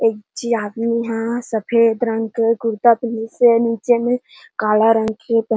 एक झी आदमी ह सफ़ेद रंग के कुरता पहिनस हे आऊ नीचे में काला रंग के--